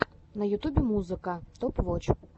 на ютубе музыка топ воч